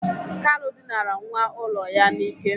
Kalu dịnara nwa ụlọ ya n'ike.